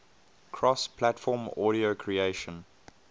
cross platform audio creation